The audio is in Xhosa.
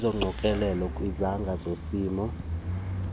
eziqokelelwe kwizangqa zesimo